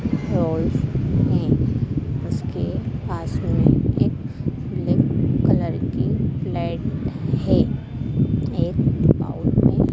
और इसके बाजू में एक ब्लैक कलर की लाइट है एक पाउड में--